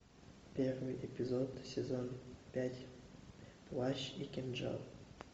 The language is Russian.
первый эпизод сезон пять плащ и кинжал